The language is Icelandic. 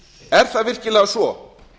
er það virkilega svo